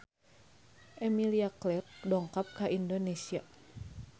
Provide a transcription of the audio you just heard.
Emilia Clarke dongkap ka Indonesia